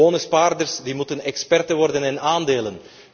Gewone spaarders moeten experts worden in aandelen.